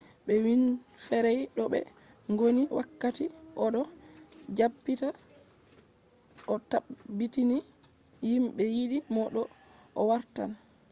be winfrey do be gondi wakkati o do jabbita o tabbitini himbe yidi mo do o wartan